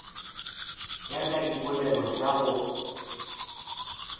ya ka dipoelo tša go